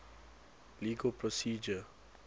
legal procedure